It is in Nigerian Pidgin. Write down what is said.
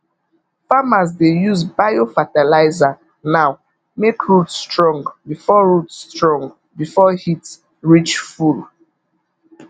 farmers dey use biofertilizer now make root strong before root strong before heat reach full